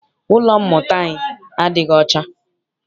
Ụlọ mmụta anyi adịghị ọcha.